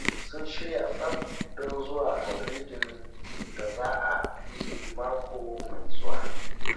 Sun shirya tsaf don zuwa maulidin da za a yi mako mai zuwa